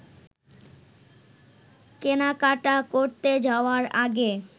কেনাকাটা করতে যাওয়ার আগে